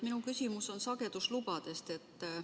Minu küsimus on sageduslubade kohta.